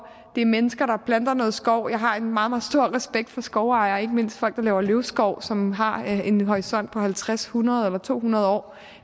det er mennesker der planter noget skov jeg har en meget meget stor respekt for skovejere og ikke mindst folk der laver løvskov som har en horisont på halvtreds hundrede eller to hundrede år